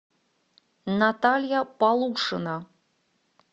наталья полушина